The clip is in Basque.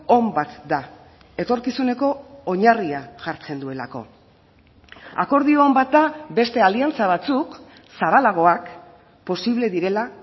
on bat da etorkizuneko oinarria jartzen duelako akordio on bat da beste aliantza batzuk zabalagoak posible direla